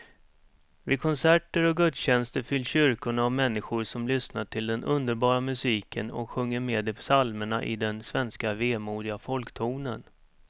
Vid konserter och gudstjänster fylls kyrkorna av människor som lyssnar till den underbara musiken och sjunger med i psalmerna i den svenska vemodiga folktonen.